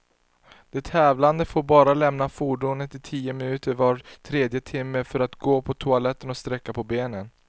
De tävlande får bara lämna fordonet i tio minuter var tredje timme, för att gå på toaletten och sträcka på benen.